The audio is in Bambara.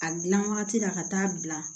A gilan wagati la ka taa bila